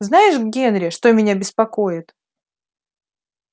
знаешь генри что меня беспокоит